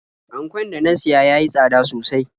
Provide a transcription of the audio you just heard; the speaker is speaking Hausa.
Ankon da na siya ya yi tsada sosai.